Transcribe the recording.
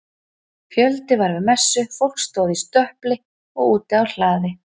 Fjöldi var við messu, fólk stóð í stöpli og úti á hlaði.